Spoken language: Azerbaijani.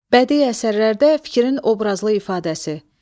Bədii əsərlərdə fikrin obrazlı ifadəsi.